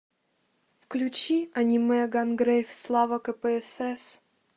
включи аниме гангрейв слава кпсс